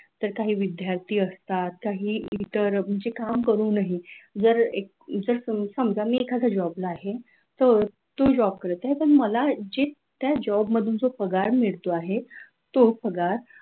तर काही विद्यार्थी असतात काही इतर म्हणजे काम करूनही जर जस समजा मी एका job ला आहे तर तू job करत आहे पण मला जे त्या job मधून जो पगार मिळतो आहे तो पगार